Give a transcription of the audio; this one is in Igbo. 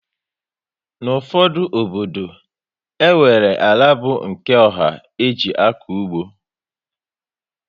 N' ụfọdụ obodo, enwere àlà bu nke ọha e ji akọ ụgbọ